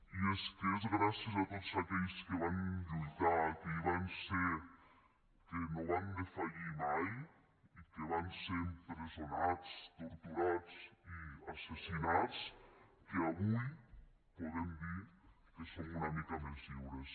i és que és gràcies a tots aquells que van lluitar que hi van ser que no van defallir mai i que van ser empresonats torturats i assassinats que avui podem dir que som una mica més lliures